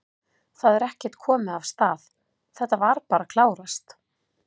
Það er ekkert komið af stað, þetta var bara að klárast?